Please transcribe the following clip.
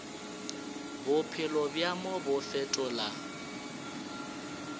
bophelo bja mo bo fetola